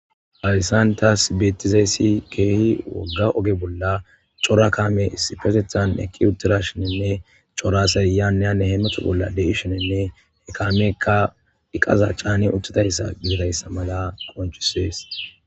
alisantas betizaessi keehi wogga oge bolla cora kaame sipetethan eqqi uttira shinenne coraseyaneyane heemathu bolla deishenenne ekaameekka diqaza caani utudayssa giirayssa maga qonchisees